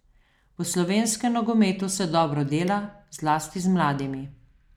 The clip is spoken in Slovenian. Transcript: V slovenskem nogometu se dobro dela, zlasti z mladimi.